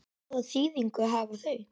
Hvaða þýðingu hafa þau?